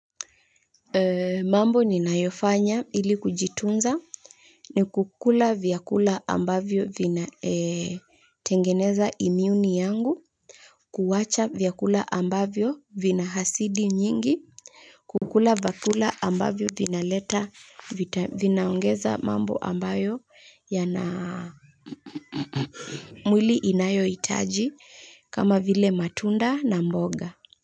Mambo ninayofanya ili kujitunza ni kukula vyakula ambavyo vina tengeneza imiuni yangu, kuwacha vyakula ambavyo vina hasidi nyingi, kukula vyakula ambavyo vinaongeza mambo ambayo yana mwili inayohitaji kama vile matunda na mboga